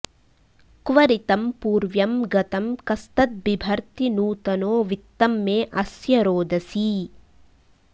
क्व॑ ऋ॒तं पू॒र्व्यं ग॒तं कस्तद्बि॑भर्ति॒ नूत॑नो वि॒त्तं मे॑ अ॒स्य रो॑दसी